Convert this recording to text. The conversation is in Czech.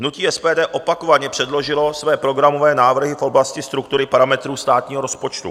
Hnutí SPD opakovaně předložilo své programové návrhy v oblasti struktury parametrů státního rozpočtu.